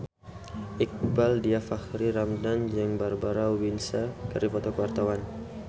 Iqbaal Dhiafakhri Ramadhan jeung Barbara Windsor keur dipoto ku wartawan